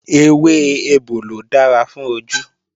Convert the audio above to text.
Ewé ebòlò dára fún ojú